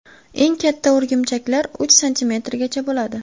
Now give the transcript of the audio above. Eng katta o‘rgimchaklar uch santimetrgacha bo‘ladi.